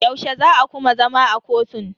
Yaushe za a kuma zama a kotun?